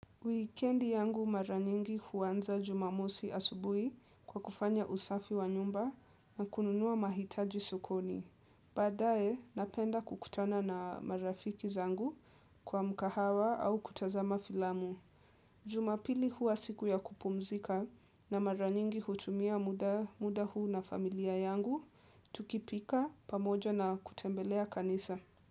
Wikedi yangu mara nyingi huanza jumamosi asubui kwa kufanya usafi wa nyumba na kununua mahitaji sokoni. Baadae, napenda kukutana na marafiki zangu kwa mkahawa au kutazama filamu. Jumapili huwa siku ya kupumzika na mara nyingi hutumia muda huu na familia yangu, tukipika pamoja na kutembelea kanisa.